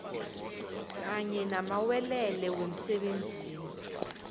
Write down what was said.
kanye namalwelwe wemsebenzini